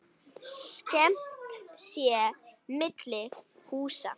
Skammt sé milli húsa.